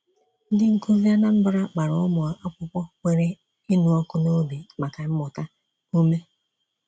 Ndị nkuzi Anambra gbara ụmụ akwụkwọ nwere ịnụ ọkụ n'obi maka mmụta ume.